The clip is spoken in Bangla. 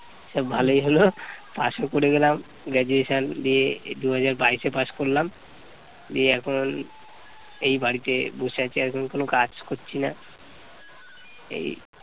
যাক ভালই হল pass ও করে গেলাম graduation দিয়ে দুই হাজার বাইশে pass করলাম। দিয়ে এখন এই বাড়িতে বসে আছি এখনও কোনো কাজ করছি না এই